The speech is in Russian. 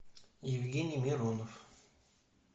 евгений миронов